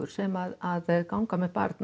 sem ganga með barn